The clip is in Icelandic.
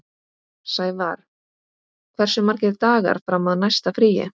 Sævarr, hversu margir dagar fram að næsta fríi?